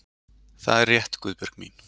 Það er rétt, Guðbjörg mín.